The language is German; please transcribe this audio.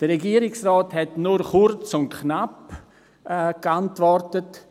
Der Regierungsrat hat nur kurz und knapp geantwortet.